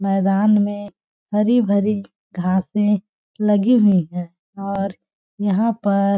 मैदान में हरी भरी घांसे लगी हुई है और यहां पर --